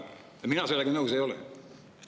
Mina sellega nõus ei ole.